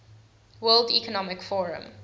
world economic forum